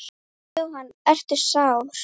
Jóhann: Ertu sár?